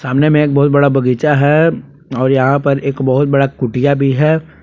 सामने में एक बहुत बड़ा बगीचा है और यहां पर एक बहुत बड़ा कुटिया भी है।